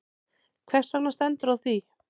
Hvers vegna stendur á því?